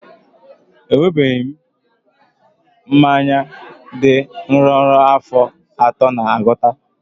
Enwebeghị m mmanya dị nro ruo afọ atọ na agụta